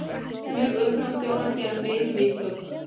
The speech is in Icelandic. Flugumferðarstjórar gera fleiri mistök